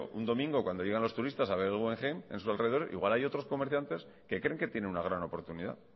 un domingo cuando llegan los turistas a ver el guggenheim en su alrededor igual hay otros comerciantes que creen que tienen una gran oportunidad